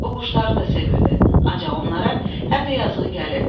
O quşları da sevirdi, ancaq onlara həm də yazığı gəlirdi.